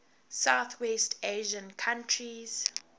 southwest asian countries